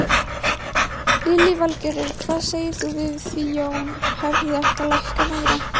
Lillý Valgerður: Hvað segir þú við því Jón, hefði átt að lækka meira?